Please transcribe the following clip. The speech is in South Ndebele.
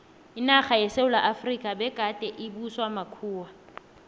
inarha yesewula efrika begade ibuswa makhuwa